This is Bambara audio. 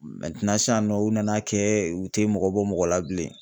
sisan nɔ u nan'a kɛ u te mɔgɔ bɔ mɔgɔ la bilen.